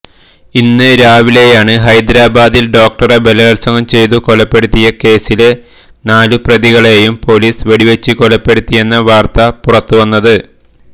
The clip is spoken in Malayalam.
ഇന്ന് രാവിലെയാണ് ഹൈദരാബാദിൽ ഡോക്ടറെ ബലാത്സംഗം ചെയ്തു കൊലപ്പെടുത്തിയ കേസിലെ നാലു പ്രതികളെയും പൊലീസ് വെടിവച്ച് കൊലപ്പെടുത്തിയെന്ന വാർത്ത പുറത്തുവരുന്നത്